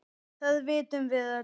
Það vitum við öll.